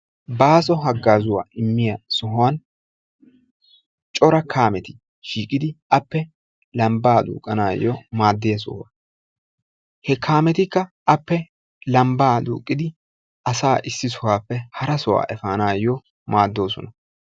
Baaso haggazza immiya sohuwaan cora kaameti shiiqidi appe lambba duqqanayo maaddiya sohuwaa. He kaametika appe lambba duqqidi asaa issi sohuwape hara sohuwaa efanayo maadosona.